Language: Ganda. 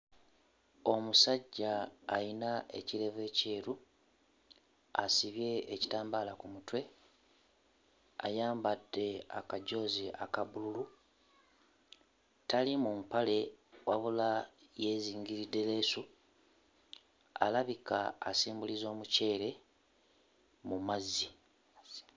Omusajja ayina ekirevu ekyeru asibye ekitambaala ku mutwe, ayambadde akajoozi aka bbululu, atali mu mpale wabula yeezingiridde leesu, alabika asimbuliza omuceere mu mazzi.